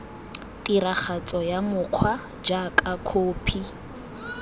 tiragatso ya mokgwa jaaka khophi